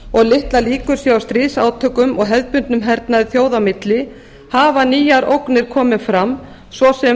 og litlar líkur séu á stríðsátökum og hefðbundnum hernaði þjóða á milli hafa nýjar ógnir komið fram svo sem